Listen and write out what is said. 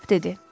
Kap dedi.